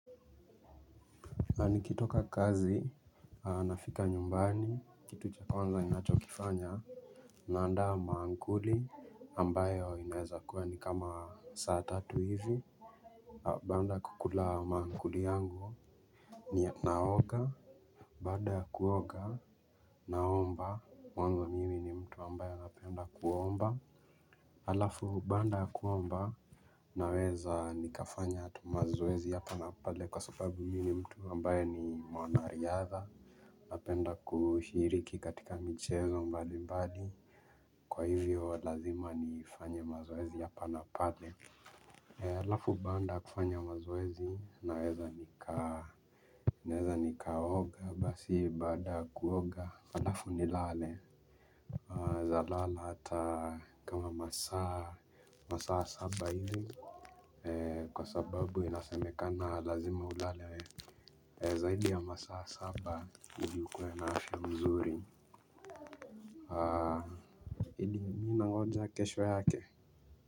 Na nikitoka kazi nafika nyumbani kitu cha kwanza ninachokifanya. Nandaa maankuli ambayo inaweza kuwa ni kama saa tatu hivi, baada kukula maankuli yangu ninaoga baada ya kuoga naomba Mungu mi ni mtu ambayo napenda kuomba. Alafu baada kuomba naweza nikafanya tu mazezi ya hapa na pale kwa sababu mi ni mtu ambayo ni mwanariadha. Napenda kushiriki katika michezo mbali mbali. Kwa hivyo lazima niifanya mazoezi ya hap pale alafu baada kufanya mazoezi naweza ni ka, naweza nikaoga basi baada kuoga alafu nilale naweza lala hata kama masaa masaa saba hivyo. Kwa sababu inasemekana lazima ulale we zaidi ya masaa saba hivyo ukuwe na afya mzuri. Ili nangoja kesho yake.